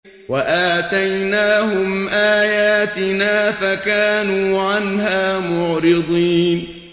وَآتَيْنَاهُمْ آيَاتِنَا فَكَانُوا عَنْهَا مُعْرِضِينَ